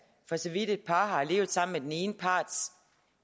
for så vidt at et par har levet sammen med den ene parts